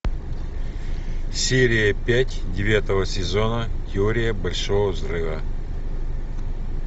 серия пять девятого сезона теория большого взрыва